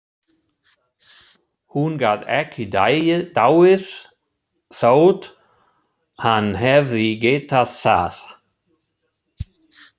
Hún gat ekki dáið þótt hann hefði getað það.